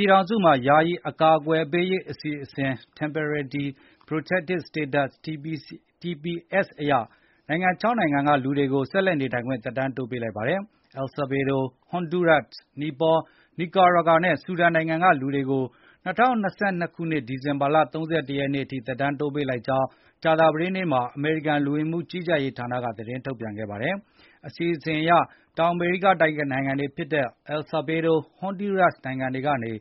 ြည်ထောင်စုမှာ ယာယီအကာကွယ်ပေးရေးအစီအစဉ် Temporary Protected Status TPS ရ နိုင်ငံ ၆ နိုင်ငံကလူတွေကို ဆက်လက်နေထိုင်ခွင့် သက်တမ်းတိုးပေးလိုက်ပါတယ်။ အယ်ဆာဗေဒို၊ ဟွန်ဒူးရပ်၊ နီပေါ၊ နီကွာရာဂါ နဲ့ ဆူဒန်နိုင်ငံက လူတွေကို ၂၀၂၂ ခုနှစ် ဒီဇင်ဘာလ ၃၁ ရက်နေ့အထိသက်တမ်းတိုးပေးလိုက်ကြောင်း ကြာသပတေးနေ့မှာ အမေရိကန်လူဝင်မှုကြီးကြပ်ရေးဌာနက သတင်းထုတ်ပြန်ခဲ့ပါတယ်။ ဒီအစီအစဉ်အရ တောင်မေရိကတိုက် နိုင်ငံတွေဖြစ်တဲ့ အယ်ဆာဗေဒိုး နဲ့ ဟွန်ဒူးရပ်စ် နိုင်ငံတွေကနေ